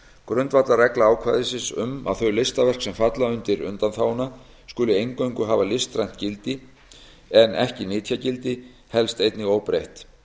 grundvallarregla ákvæðisins um að þau listaverk sem falla undir undanþáguna skuli eingöngu hafa listrænt gildi en ekki nytjagildi helst einnig óbreytt